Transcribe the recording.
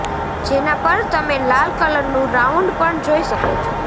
જેના પર તમે લાલ કલરનું રાઉન્ડ પણ જોઈ શકો છો